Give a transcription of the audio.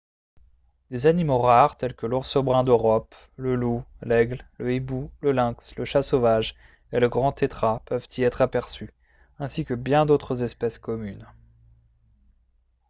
des animaux rares tels que l'ours brun d'europe le loup l'aigle le hibou le lynx le chat sauvage et le grand tétras peuvent y être aperçus ainsi que bien d'autres espèces communes